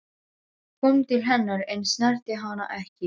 Hann kom til hennar en snerti hana ekki.